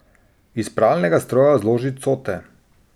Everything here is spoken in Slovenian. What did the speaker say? Iz pralnega stroja zloži cote.